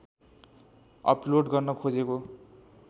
upload गर्न खोजेको